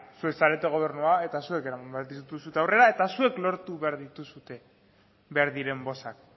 zuek zarete gobernua eta zuek eraman behar dituzue aurrera eta zuek lortu behar dituzue behar diren bozkak